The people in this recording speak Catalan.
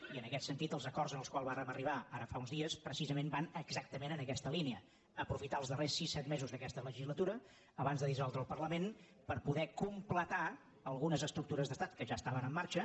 i en aquest sentit els acords als quals vàrem arribar ara fa uns dies precisament van exactament en aquesta línia aprofitar els darrers sis set mesos d’aquesta le·gislatura abans de dissoldre el parlament per poder completar algunes estructures d’estat que ja estaven en marxa